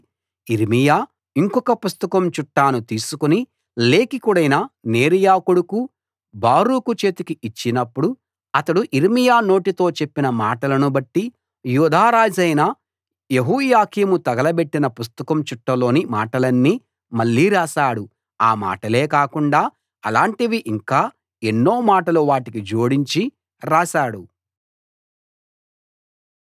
కాబట్టి యిర్మీయా ఇంకొక పుస్తకం చుట్టను తీసుకుని లేఖికుడైన నేరియా కొడుకు బారూకు చేతికి ఇచ్చినప్పుడు అతడు యిర్మీయా నోటితో చెప్పిన మాటలనుబట్టి యూదా రాజైన యెహోయాకీము తగలబెట్టిన పుస్తకం చుట్టలోని మాటలన్నీ మళ్ళీ రాశాడు ఆ మాటలే కాకుండా అలాంటివి ఇంకా ఎన్నో మాటలు వాటికి జోడించి రాశాడు